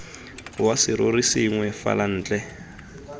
wa serori sengwe fela ntle